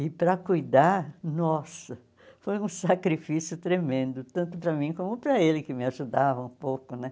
E para cuidar, nossa, foi um sacrifício tremendo, tanto para mim como para ele, que me ajudava um pouco né.